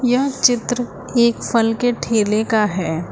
यह चित्र एक फल के ठेले का है।